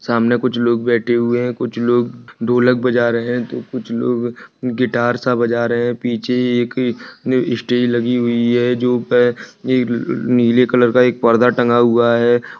सामने कुछ लोग बैठे हुए हैं कुछ लोग ढोलक बजा रहे हैं तो कुछ लोग गिटार सा बजा रहे हैं पीछे एक स्टेज लगी हुई है जो है नीले कलर का पर्दा टंगा हुआ है।